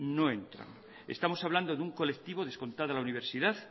no entran estamos hablando de un colectivo descontada la universidad